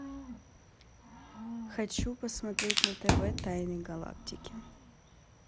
хочу посмотреть на тв тайны галактики